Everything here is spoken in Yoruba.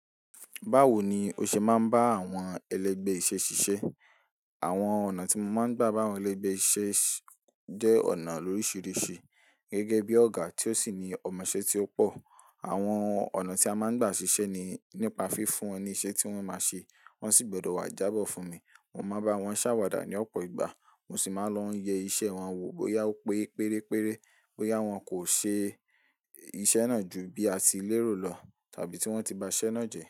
Báwo ni o ṣe máa ń bá àwọn ẹlẹgbẹ́ iṣẹ́ ṣiṣẹ́? Àwọn ọ̀nà tí mo máa ń gbà bá àwọn ẹlẹgbẹ́ iṣẹ́ jẹ́ ọ̀nà lóríṣiríṣi. Gẹ́gẹ́ bí ọ̀gá tí ó sì ní ọmọṣẹ́ tí ó pọ̀, àwọn ọ̀nà tí a máa ń gbà ṣiṣẹ́ ni nípa fífún wọn ní iṣẹ́ tí wọ́n máa ṣe. Wọ́n sì gbọdọ̀ wá jábọ̀ fún mi. Mo máa bá wọn ṣàwàdà ní ọ̀pọ̀ ìgbà, mo sì máa ń lọ yẹ iṣẹ́ wọn wò bóyá ó pé pérére, bóyá wọn kò ṣe iṣẹ́ náà ju bí a ti lérò lọ tàbí tí wọ́n ti ba iṣẹ́ náà jẹ.